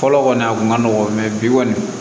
Fɔlɔ kɔni a kun ka nɔgɔn bi kɔni